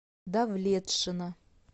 давлетшина